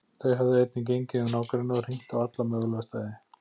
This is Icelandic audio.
Þau höfðu einnig gengið um nágrennið og hringt á alla mögulega staði.